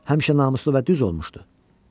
Həmişə namuslu olub və düz olmuşdu.